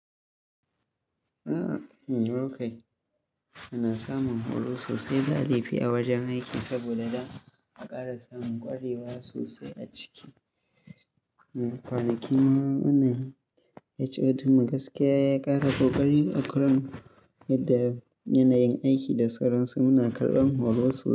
A'a, me mukayi. Muna samun horo sosai ba laifi a wajen aiki saboda da a ƙara samun ƙwarewa sosai a ciki. Kwanakin HOD mu gaskiya ya ƙara kokari a kan yadda yanayin aiki da sauransu muna karɓan horo sosai.